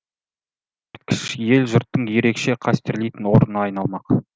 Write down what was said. ел жұрттың ерекше қастерлейтін орнына айналмақ